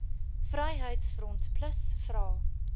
vryheids front plus vra